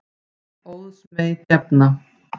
Óðs mey gefna.